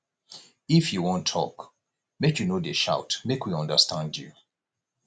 if you wan tok make you no dey shout make we understand you